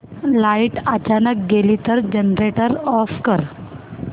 light अचानक गेली तर जनरेटर ऑफ कर